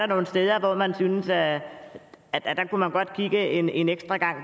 nogle steder hvor man synes at at der kunne man godt kigge en en ekstra gang